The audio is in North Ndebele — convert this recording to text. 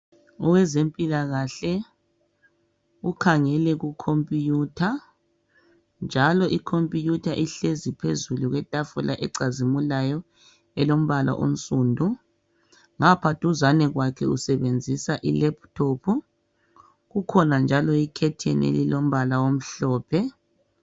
Owezempilakahle ukhangele kukhompuyutha njalo ikhompuyutha ihlezi phezulu kwetafula ecazimulayo elombala onsudu ngapha duzane kwakhe usebenzisa ilephutophu kukhona njalo ikhetheni elilombala omhlophe.